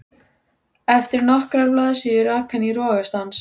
Þeir voru báðir heimilisvinir og áttu einatt glaðar stundir á